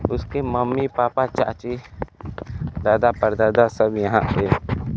उसकी mummy papa चाची दादा परदादा सब यहां पे--